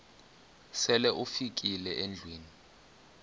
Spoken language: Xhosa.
sele ufikile endlwini